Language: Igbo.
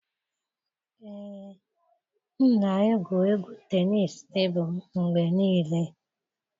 Ee, m na-egwu égwù tenisii tebụl mgbe niile.